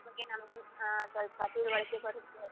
ಅದ್ಕೆ ನಮ್ಗೊಂದು ಆ ತಿಳುವಳಿಕೆ ಬರತ್ತೆ.